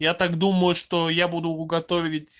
я так думаю что я буду готовить